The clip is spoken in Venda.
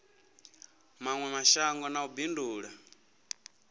mawe mashango na u bindula